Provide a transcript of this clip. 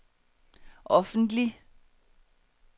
offentlig